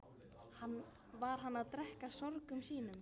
Var hann að drekkja sorgum sínum?